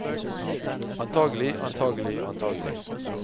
antagelig antagelig antagelig